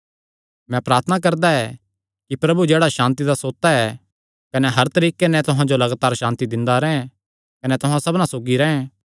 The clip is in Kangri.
मैं प्रार्थना करदा ऐ कि प्रभु जेह्ड़ा सांति दा सोता ऐ कने हर तरीके नैं तुहां जो लगातार सांति दिंदा रैंह् कने तुहां सबना सौगी रैंह्